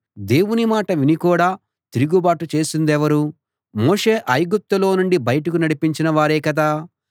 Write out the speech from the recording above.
దేవుని మాట విని కూడా తిరుగుబాటు చేసిందెవరు మోషే ఐగుప్తులో నుండి బయటకు నడిపించిన వారే కదా